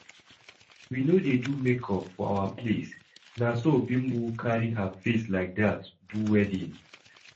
As we no dey do make-up for our place, na so Bimbo carry her face like that do wedding